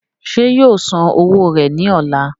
ṣé yóò san owó rẹ̀ ní ọ̀la?